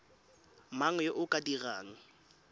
mang yo o ka dirang